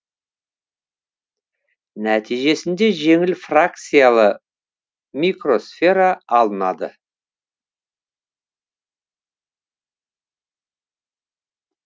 нәтижесінде жеңіл фракциялы микросфера алынады